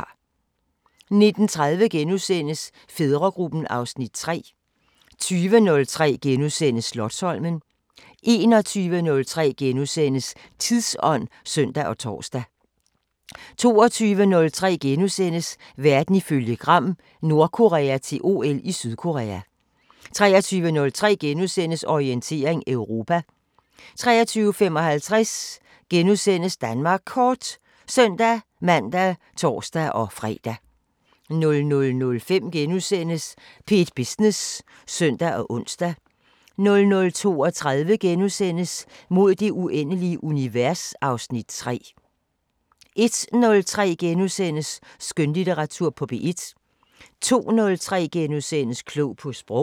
19:30: Fædregruppen (Afs. 3)* 20:03: Slotsholmen * 21:03: Tidsånd *(søn og tor) 22:03: Verden ifølge Gram: Nordkorea til OL i Sydkorea * 23:03: Orientering Europa * 23:55: Danmark Kort *(søn-man og tor-fre) 00:05: P1 Business *(søn og ons) 00:32: Mod det uendelige univers (Afs. 3)* 01:03: Skønlitteratur på P1 * 02:03: Klog på sprog *